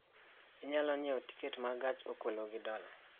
Inyalo nyiewo tiket ma gach okologi dola